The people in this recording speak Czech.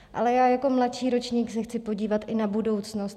Ale já jako mladší ročník se chci podívat i na budoucnost.